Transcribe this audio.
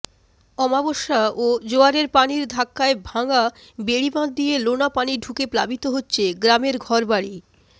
অমাবস্যা ও জোয়ারের পানির ধাক্কায় ভাঙা বেড়িবাঁধ দিয়ে লোনা পানি ঢুকে প্লাবিত হচ্ছে গ্রামের ঘরবাড়ি